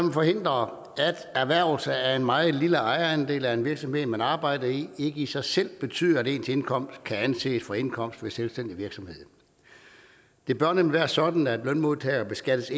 man forhindre at erhvervelse af en meget lille ejerandel af en virksomhed man arbejder i ikke i sig selv betyder at ens indkomst kan anses for indkomst ved selvstændig virksomhed det bør nemlig være sådan at lønmodtagere beskattes